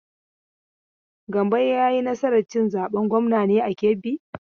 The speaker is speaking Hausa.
Gambo ya yi nasar cin zaben gwamnan ne a Kebbi?